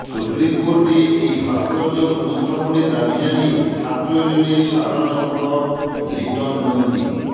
supreme কোর্টে এই ভাস্কর্য পুনঃস্থাপনের দাবি জানিয়ে ছাত্র ইউনিয়নের সাধারণ সম্পাদক লিটন নন্দী